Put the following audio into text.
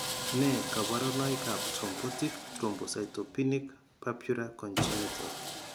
Nee kabarunoikab Thrombotic thrombocytopenic purpura Congenital?